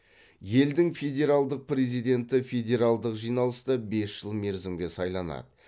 елдің федералдық президенті федералдық жиналыста бес жыл мерзімге сайланады